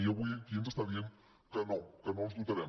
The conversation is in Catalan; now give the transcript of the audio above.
i avui aquí ens està dient que no que no els dotarem